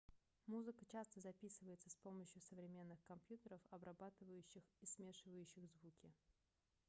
музыка часто записывается с помощью современных компьютеров обрабатывающих и смешивающих звуки